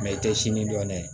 i tɛ sini dɔn dɛ